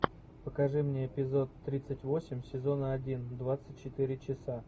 покажи мне эпизод тридцать восемь сезона один двадцать четыре часа